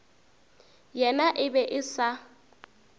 yena e be e sa